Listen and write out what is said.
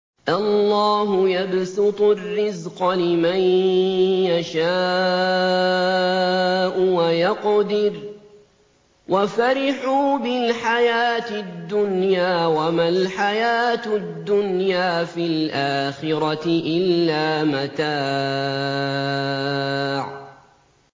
اللَّهُ يَبْسُطُ الرِّزْقَ لِمَن يَشَاءُ وَيَقْدِرُ ۚ وَفَرِحُوا بِالْحَيَاةِ الدُّنْيَا وَمَا الْحَيَاةُ الدُّنْيَا فِي الْآخِرَةِ إِلَّا مَتَاعٌ